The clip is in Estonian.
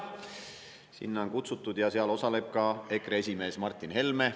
Sinna on kutsutud ja seal osaleb ka EKRE esimees Martin Helme.